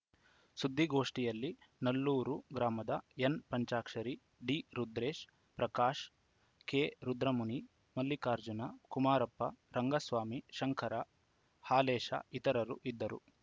ಸುದ್ದಿಗೋಷ್ಟಿಯಲ್ಲಿ ನಲ್ಲೂರು ಗ್ರಾಮದ ಎನ್‌ಪಂಚಾಕ್ಷರಿ ಡಿರುದ್ರೇಶ ಪ್ರಕಾಶ ಕೆರುದ್ರಮುನಿ ಮಲ್ಲಿಕಾರ್ಜುನ ಕುಮಾರಪ್ಪ ರಂಗಸ್ವಾಮಿ ಶಂಕರ ಹಾಲೇಶ ಇತರರು ಇದ್ದರು